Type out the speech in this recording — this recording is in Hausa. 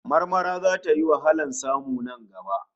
Marmara zata yi wahalar samu nan gaba